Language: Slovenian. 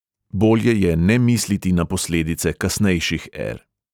Bolje je ne misliti na posledice kasnejših er.